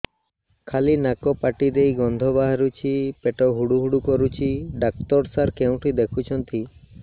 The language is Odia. ଖାଲି ନାକ ପାଟି ଦେଇ ଗଂଧ ବାହାରୁଛି ପେଟ ହୁଡ଼ୁ ହୁଡ଼ୁ କରୁଛି ଡକ୍ଟର ସାର କେଉଁଠି ଦେଖୁଛନ୍ତ